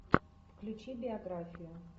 включи биографию